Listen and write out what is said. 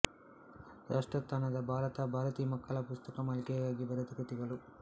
ರಾಷ್ಟ್ರೋತ್ಥಾನದ ಭಾರತ ಭಾರತಿ ಮಕ್ಕಳ ಪುಸ್ತಕ ಮಾಲಿಕೆಗಾಗಿ ಬರೆದ ಕೃತಿಗಳು